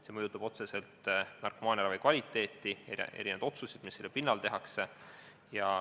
See mõjutab otseselt narkomaaniravi kvaliteeti ning otsuseid, mida tehakse.